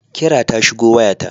Kira ta shigo waya ta.